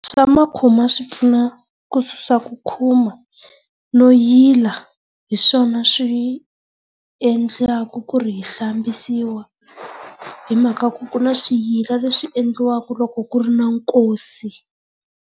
Swa ma swi pfuna ku susa ku khuma no yila hi swona swi endlaka ku ri hi hlambisiwa hi mhaka ku ri ku na swiyila leswi endliwaka loko ku ri na nkosi.